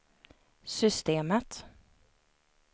systemet